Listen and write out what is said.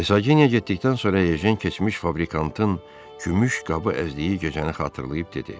Ersaqinya getdikdən sonra Ejen keçmiş fabrikantın gümüş qabı əzdiyi gecəni xatırlayıb dedi.